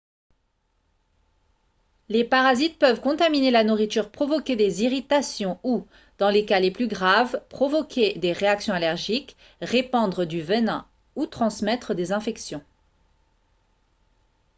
les parasites peuvent contaminer la nourriture provoquer des irritations ou dans les cas les plus graves provoquer des réactions allergiques répandre du venin ou transmettre des infections